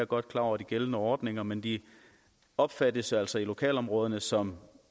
godt klar over de gældende ordninger men de opfattes altså i lokalområderne som